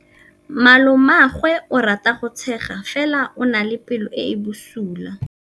Malomagwe o rata go tshega fela o na le pelo e e bosula.